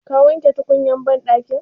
Ka wanke tukunyan banɗakin?